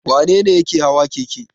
Wane ne yake hawa keke?